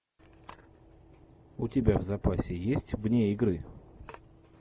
у тебя в запасе есть вне игры